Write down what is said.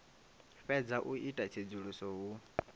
fhedza u ita tsedzuluso hu